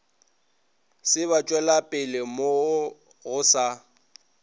se batšwelapele mo go sa